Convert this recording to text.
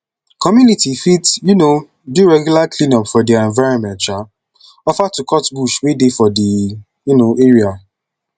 community fit um do regular cleanup of their environment um offer to cut bush wey dey for di um area